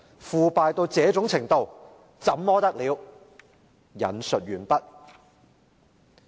腐敗到這種程度，怎麼得了！